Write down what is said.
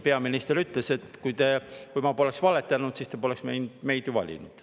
Peaminister ütles: "Kui ma poleks valetanud, siis te poleks ju meid valinud.